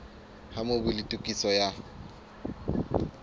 ha mobu le tokiso ya